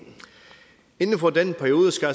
inden for den periode skal